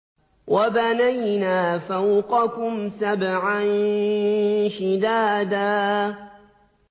وَبَنَيْنَا فَوْقَكُمْ سَبْعًا شِدَادًا